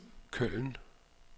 Køln